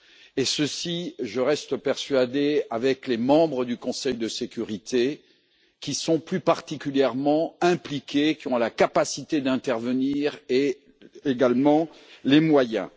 Et ceci, je reste persuadé, avec les membres du Conseil de sécurité qui sont plus particulièrement impliqués, qui ont la capacité d'intervenir et également les moyens.